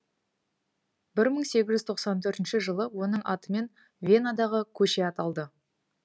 бір мың сегіз жүз тоқсан төртінші жылы оның атымен венадағы көше аталды